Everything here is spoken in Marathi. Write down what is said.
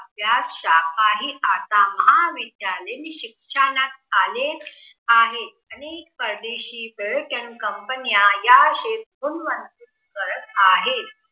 त्यात शाखाही आता महाविद्यालयीन शिक्षणात आले आहेत. अनेक परदेशी आणि companies या क्षेत्रात गुंतवणूक करत आहेत.